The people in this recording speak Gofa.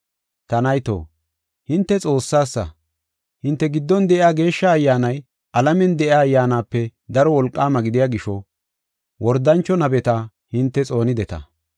Ta nayto, hinte Xoossasa. Hinte giddon de7iya Geeshsha Ayyaanay alamen de7iya ayyaanape daro wolqaama gidiya gisho wordancho nabeta hinte xoonideta.